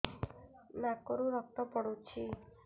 ନାକରୁ ରକ୍ତ ପଡୁଛି